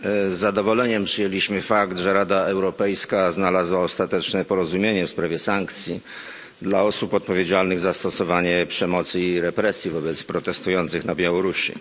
Z zadowoleniem przyjęliśmy fakt, że Rada Europejska znalazła ostateczne porozumienie w sprawie sankcji dla osób odpowiedzialnych za stosowanie przemocy i represji wobec protestujących na Białorusi.